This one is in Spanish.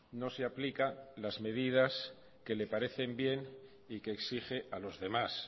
no se aplica las medidas que les parecen bien y que exige a los demás